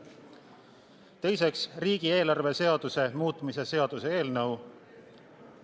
Teiseks, riigieelarve seaduse muutmise seaduse eelnõu.